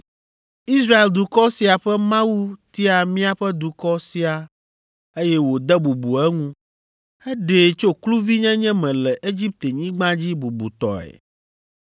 “Israel dukɔ sia ƒe Mawu tia míaƒe dukɔ sia, eye wòde bubu eŋu. Eɖee tso kluvinyenye me le Egiptenyigba dzi bubutɔe.